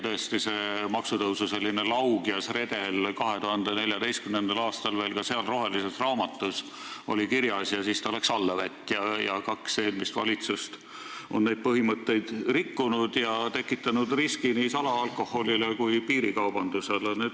Tõesti, see laugjas maksutõusu redel oli 2014. aastal ka rohelises raamatus kirjas, aga siis läks kõik allavett: kaks eelmist valitsust on neid põhimõtteid rikkunud ja tekitanud nii salaalkoholi kui piirikaubanduse riski.